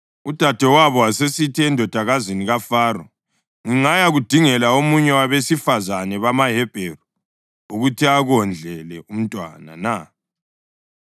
Udadewabo wasesithi endodakazini kaFaro, “Ngingayakudingela omunye wabesifazane bamaHebheru ukuthi akondlele umntwana na?”